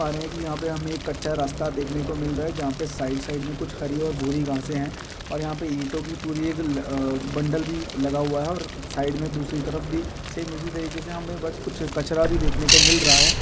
देख पा रहे है की यहाँ पे हमे एक कच्चा रास्ता देखने को मिल रहा है जहाँ पे साइड- साइड मे कुछ हरी और भूरि रंग से है और यहाँ पे इंटो की पूरी एक आ-- बंडल भी लगा हुआ है और साइड मे दूसरी तरफ भी सेम इसी तरीके से हमे बहुत कुछ कचरा भी देखने को मिल रहा है।